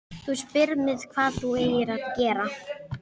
Þú spyrð mig hvað þú eigir að gera.